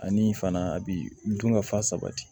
Ani fana a bi dun ka fa sabati